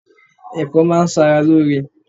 Ẹ̀fọ́ máa ń ṣara lóore.